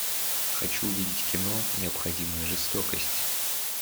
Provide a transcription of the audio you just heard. хочу увидеть кино необходимая жестокость